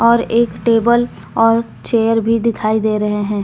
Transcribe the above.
और एक टेबल और चेयर भी दिखाई दे रहे है।